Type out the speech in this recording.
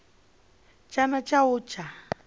tshana tsha u a tsha